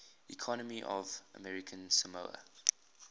economy of american samoa